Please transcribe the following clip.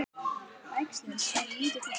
Bægslin eru lítil og hvöss.